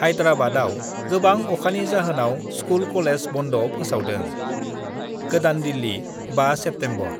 हाइद्राबाआव गोबां अखानि जाहोनाव स्कुल-कलेज बन्द' फोसावदों गोदान दिल्ली, 5 सेप्तेम्बर: